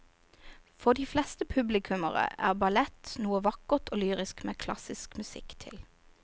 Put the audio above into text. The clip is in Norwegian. For de fleste publikummere er ballett noe vakkert og lyrisk med klassisk musikk til.